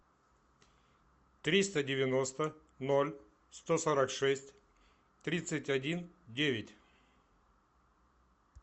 триста девяносто ноль сто сорок шесть тридцать один девять